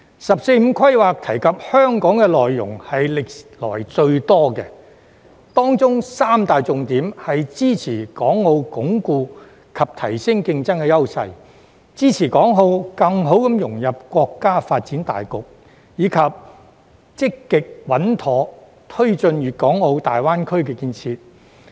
"十四五"規劃提及香港的內容是歷來最多的，當中三大重點是支持港澳鞏固及提升競爭優勢、支持港澳更好融入國家發展大局，以及積極穩妥推進粵港澳大灣區建設。